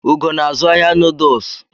Ugo na-azụ ahịa Nudulsu